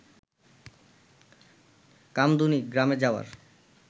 কামদুনি গ্রামে যাওয়ার